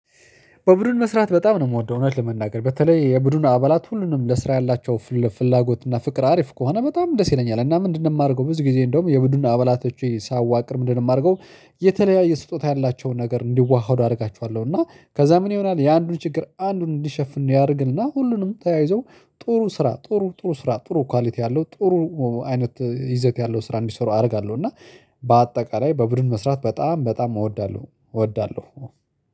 በቡድን መስራት በጣም ነው የምወደው እውነት ለመናገር። በተለይ የቡድኑ አባላት ሁሉንም ለስራ ያላቸው ፍላጎት እና ፍቅር አሪፍ ከሆነ በጣም ደስ ይለኛል። እና ምንድንም የማደርገው ብዙ ጊዜ እንደውም የቡድን አባላቶቼ ሳዋቅር ምንድንም የማደርገው የተለያየ ስጦታ ያላቸውን ነገር እንዲዋሃዱ አደርጋችኋለሁ። እና ከዛ ምን ይሆናል የአንዱን ችግር አንዱን እንዲሸፍን ያደርግና ሁሉንም ተያይዞ ጥሩ ስራ ጥሩ ጥሩ ስራ ጥሩ ኳሊቲ ያለው ጥሩ አይነት ይዘት ያለው ስራ እንዲሰሩ አደርጋለሁ። እና በአጠቃላይ በቡድን መስራት በጣም በጣም እወዳለሁ። እወዳለሁ።